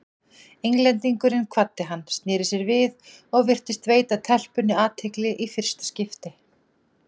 Englendingurinn kvaddi hann, sneri sér við og virtist veita telpunni athygli í fyrsta skipti.